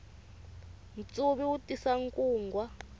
ntsuvi wu tisa nkungwa